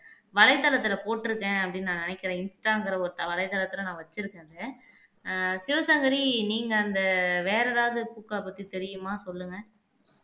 வலைத்தளத்துல போட்டிருக்கேன் அப்படின்னு நான் நினைக்கிறேன் இன்ஸ்டாங்கற ஒரு தள வலைதளத்துல நான் வச்சிருக்கேன்னு ஆஹ் சிவசங்கரி நீங்க அந்த வேற எதாவது பூக்களை பத்தி தெரியுமா சொல்லுங்க